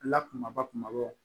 La kumaba kumabaw